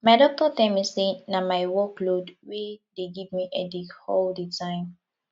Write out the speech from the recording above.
my doctor tell me say na my work load wey dey give me headache all the time